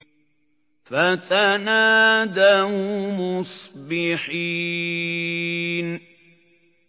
فَتَنَادَوْا مُصْبِحِينَ